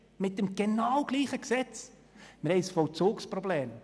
Wir haben ein Vollzugsproblem!